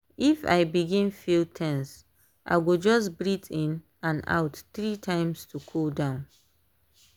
if i begin feel ten se i go just breath in and out three times to cool down.